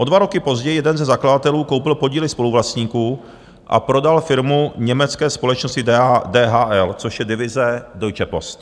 O dva roky později jeden ze zakladatelů koupil podíly spoluvlastníků a prodal firmu německé společnosti DHL, což je divize Deutsche Post.